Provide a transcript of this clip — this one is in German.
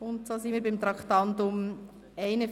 Wir kommen zum Traktandum 41: